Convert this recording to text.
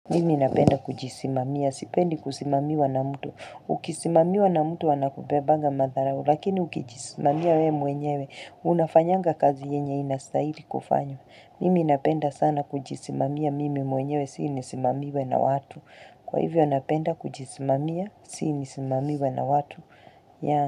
Mimi napenda kujisimamia. Sipendi kusimamiwa na mtu. Ukisimamiwa na mtu anakubebanga madharau. Lakini ukijisimamia we mwenyewe. Unafanyanga kazi yenye inastahili kufanywa. Mimi napenda sana kujisimamia mimi mwenyewe. Si nisimamiwe na watu. Kwa hivyo napenda kujisimamia. Si nisimamiwe na watu.